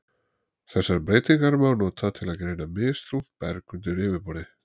Þessar breytingar má nota til að greina misþungt berg undir yfirborði.